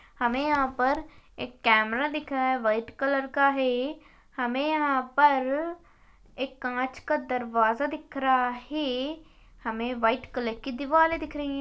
हमें यहां पर एक कैमरा दिखाएं व्हाइट कलर का है हमें यहां पर एक कांच का दरवाजा दिख रहा है हमें व्हाइट कलर की दिवाले दिख रही है।